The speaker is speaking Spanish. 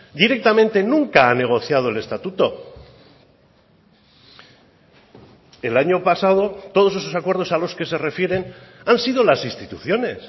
directamente nunca ha negociado el estatuto el año pasado todos esos acuerdos a los que se refieren han sido las instituciones